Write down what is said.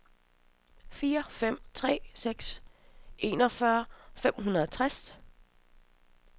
fire fem tre seks enogfyrre fem hundrede og tres